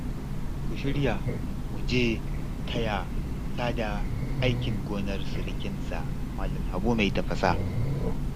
Ku shirya mu je taya Sada aikin gonar sirikinsa Malam Habu mai tafasa